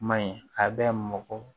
Maɲi a bɛ mɔgɔ